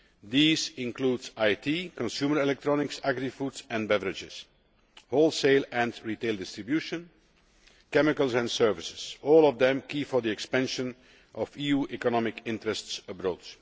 These include IT, consumer electronics, agri foods and beverages, wholesale and retail distribution, chemicals, and services all of them key for the expansion of EU economic interests abroad.